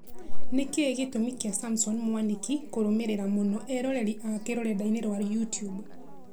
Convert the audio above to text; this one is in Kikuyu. Nĩkĩĩ gĩtũmi kĩa Samson Mwanĩki kũrũmĩrĩra mũno eroreri ake rũrenda-inĩ rwa youtube